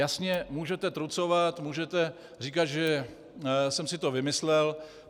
Jasně, můžete trucovat, můžete říkat, že jsem si to vymyslel.